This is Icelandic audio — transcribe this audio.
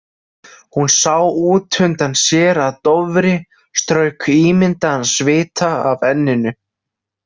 Hún sá útundan sér að Dofri strauk ímyndaðan svita af enninu.